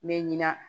N bɛ ɲina